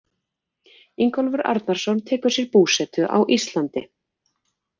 Ingólfur Arnarson tekur sér búsetu á Íslandi.